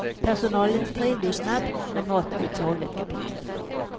Personalen är trevlig och snabb, men maten är ett sorgligt kapitel.